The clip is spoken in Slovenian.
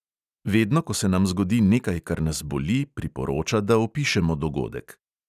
Vedno ko se nam zgodi nekaj, kar nas boli, priporoča, da opišemo dogodek.